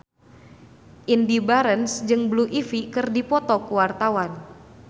Indy Barens jeung Blue Ivy keur dipoto ku wartawan